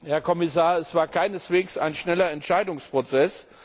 Herr Kommissar, es war keineswegs ein schneller Entscheidungsprozess.